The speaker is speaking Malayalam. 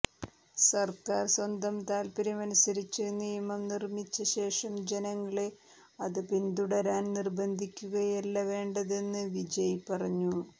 സർക്കാർ സ്വന്തം താത്പര്യമനുസരിച്ച് നിയമം നിർമ്മിച്ച ശേഷം ജനങ്ങളെ അത് പിന്തുടരാൻ നിർബന്ധിക്കുകയല്ല വേണ്ടതെന്ന് വിജയ് പറഞ്ഞു